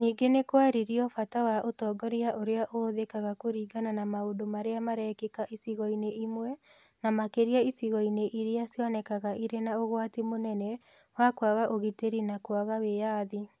Ningĩ nĩ kwarĩrio bata wa ũtongoria ũrĩa ũhũthĩkaga kũringana na maũndũ marĩa marekĩka icigo-inĩ imwe, na makĩria icigo-inĩ iria cionekaga irĩ na ũgwati mũnene wa kwaga ũgitĩri na kwaga wĩyathi.